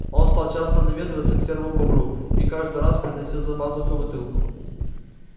он стал часто наведываться к серому бобру и каждый раз приносил за пазухой бутылку